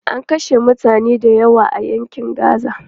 An kashe mutane dayawa a yaƙin Gaza.